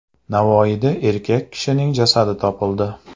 Navoiyda erkak kishining jasadi topildi.